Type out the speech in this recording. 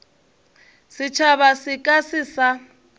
setšhaba se ka se sa